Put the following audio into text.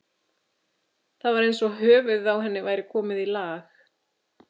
Það var eins og höfuðið á henni væri komið í lag.